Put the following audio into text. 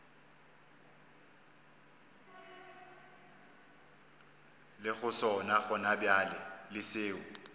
lego sona gonabjale le seo